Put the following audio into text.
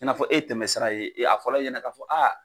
I n'a fɔ e ye tɛmɛ sira ye, a fɔlɔ e ɲɛna k'a fɔ